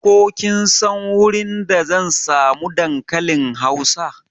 Ko kin san wurin da zan samu dankalin hausa?